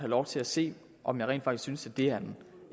lov til at se om jeg rent faktisk synes at det er